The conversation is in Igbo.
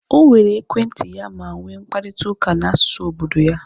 O were ekwentị ya ma nwee mkparịta ụka na asụsụ obodo ya